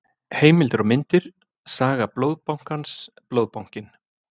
Heimildir og myndir: Saga Blóðbankans- Blóðbankinn.